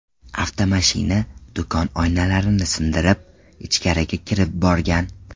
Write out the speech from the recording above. Avtomashina do‘kon oynalarini sindirib, ichkarigacha kirib borgan.